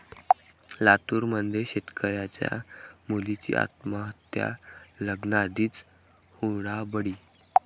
लातूरमध्ये शेतकऱ्याच्या मुलीची आत्महत्या, लग्नाआधीच हुंडाबळी